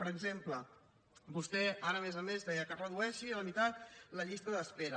per exemple vostè ara a més a més deia que es redueixi a la meitat la llista d’espera